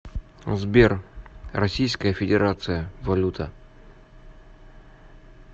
сбер российская федерация валюта